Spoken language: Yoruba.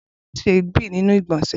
Bolanle n se èébì ninu igbonse.